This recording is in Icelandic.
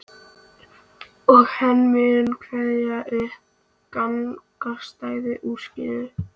Og hann mun kveða upp gagnstæðan úrskurð.